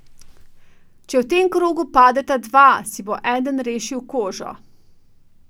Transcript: Če v tem krogu padeta dva, si bo eden rešil kožo.